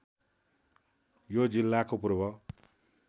यो जिल्लाको पूर्व